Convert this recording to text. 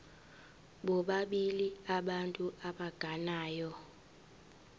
bobabili abantu abagananayo